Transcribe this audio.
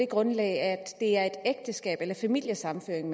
grund af ægteskab eller familiesammenføring